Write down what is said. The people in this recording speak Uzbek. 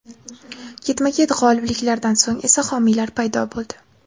Ketma-ket g‘olibliklardan so‘ng esa homiylar paydo bo‘ldi.